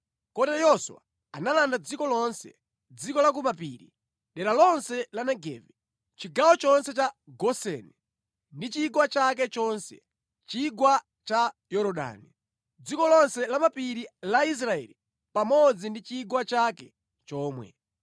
Kotero Yoswa analanda dziko lonse: dziko la ku mapiri, dera lonse la Negevi, chigawo chonse cha Goseni, ndi chigwa chake chonse, chigwa cha Yorodani, dziko lonse la lamapiri la Israeli pamodzi ndi chigwa chake chomwe.